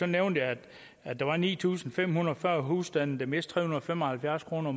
nævnte jeg at der var ni tusind fem hundrede og fyrre husstande der mistede og fem og halvfjerds kroner